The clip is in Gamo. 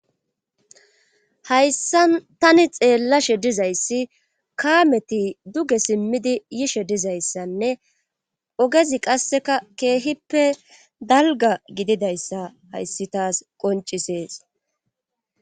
hayssa tani xeellashe dizayssi kaameti duge simmidi yishe dizayssanne ogezi qasseka keehippe dalga gididayssa hayssi taas qoncisees